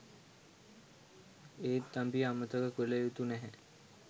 ඒත් අපි අමතක කල යුතු නැහැ